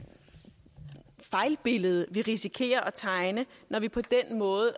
fejlbillede vi risikerer at tegne når vi på den måde